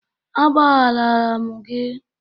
Agbagharala m gị